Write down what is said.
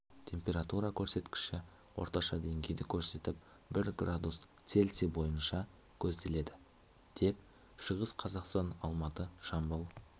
температура көрсеткіші орташа деңгейді көрсетіп бір градус цельсий бойынша көзделеді тек шығыс қазақстан алматы жамбыл